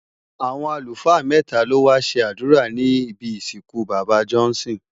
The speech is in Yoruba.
Awọn alúfaa mètá ló wá ṣé adúrá nibi isinkú baba Johnson